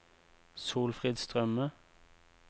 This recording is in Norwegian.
Solfrid Strømme